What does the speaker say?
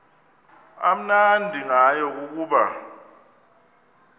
amnandi ngayo kukuba